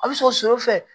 A bɛ sɔ fɛ